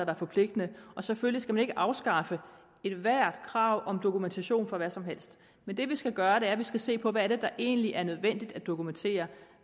er forpligtende og selvfølgelig skal man ikke afskaffe ethvert krav om dokumentation for hvad som helst men det vi skal gøre er at vi skal se på hvad det er der egentlig er nødvendigt at dokumentere og